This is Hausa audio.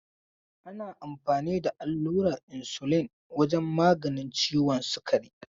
Ana amfani da allurar insulin wajen maganin ciwon sukari.